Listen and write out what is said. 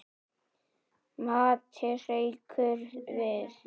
Matti hrekkur við.